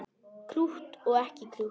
Krútt og ekki krútt.